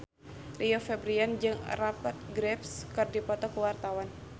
Rio Febrian jeung Rupert Graves keur dipoto ku wartawan